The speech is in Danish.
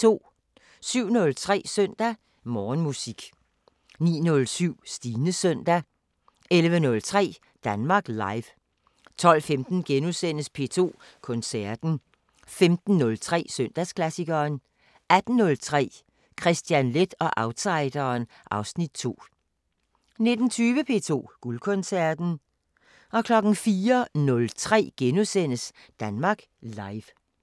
07:03: Søndag Morgenmusik 09:07: Stines søndag 11:03: Danmark Live 12:15: P2 Koncerten * 15:03: Søndagsklassikeren 18:03: Kristian Leth og outsideren (Afs. 2) 19:20: P2 Guldkoncerten 04:03: Danmark Live *